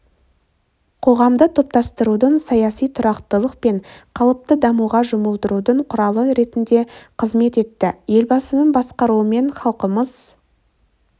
қоғамды топтастырудың саяси тұрақтылық пен қалыпты дамуға жұмылдырудың құралы ретінде қызмет етті елбасының басқаруымен халқымыз